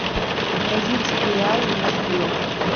бразильские реалы в москве